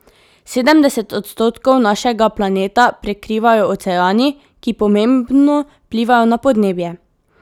Sedemdeset odstotkov našega planeta prekrivajo oceani, ki pomembno vplivajo na podnebje.